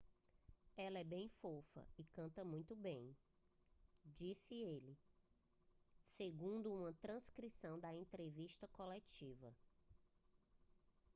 "ela é bem fofa e canta muito bem disse ele segundo uma transcrição da entrevista coletiva